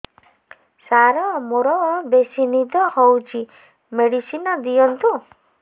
ସାର ମୋରୋ ବେସି ନିଦ ହଉଚି ମେଡିସିନ ଦିଅନ୍ତୁ